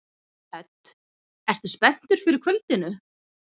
Hödd: Ertu spenntur fyrir kvöldinu?